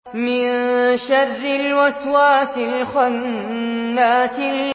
مِن شَرِّ الْوَسْوَاسِ الْخَنَّاسِ